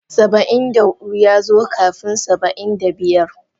Saba'in da hudu ya zo kafin Saba'in da biyar.